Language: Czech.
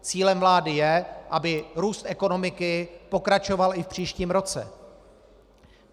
Cílem vlády je, aby růst ekonomiky pokračoval i v příštím roce.